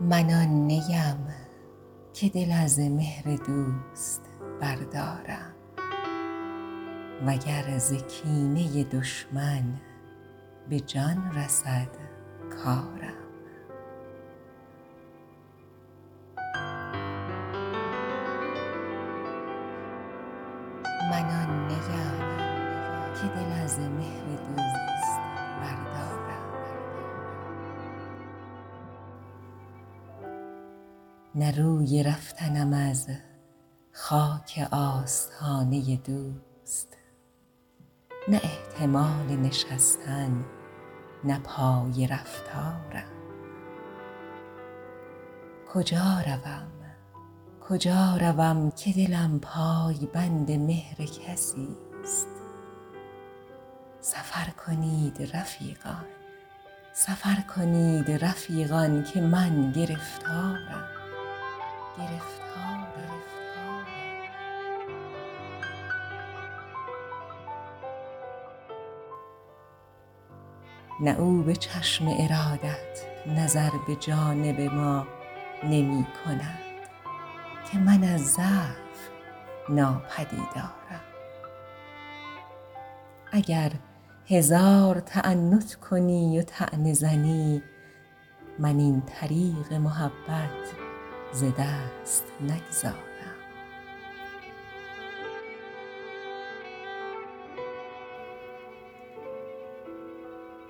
من آن نی ام که دل از مهر دوست بردارم و گر ز کینه دشمن به جان رسد کارم نه روی رفتنم از خاک آستانه دوست نه احتمال نشستن نه پای رفتارم کجا روم که دلم پای بند مهر کسی ست سفر کنید رفیقان که من گرفتارم نه او به چشم ارادت نظر به جانب ما نمی کند که من از ضعف ناپدیدارم اگر هزار تعنت کنی و طعنه زنی من این طریق محبت ز دست نگذارم